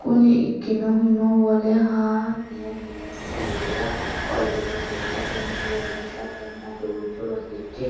Kuni ikkinohuno wole haa ne meessi widira qolle rosiisatenni leellishatenna duuchu rosichi